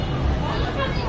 Baxın da.